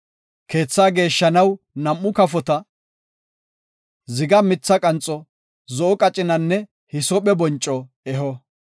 Keethaa geeshshanaw nam7u kafota, ziga mitha qanxo, zo7o qacinanne hisoophe bonco eho.